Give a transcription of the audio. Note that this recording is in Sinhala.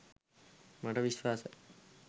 මට විශ්වාසයි.